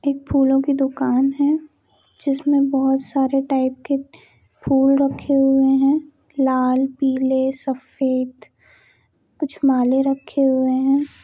एक फूलो की दुकान है जिसमे बहुत सारी टाइप के फूल रखे हुए हैं लाल पीले सफ़ेद कुछ माले रखे हुए है।